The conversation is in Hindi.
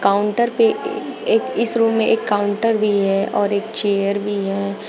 काउंटर पे एक इस रूम में एक काउंटर भी है और एक चेयर भी है।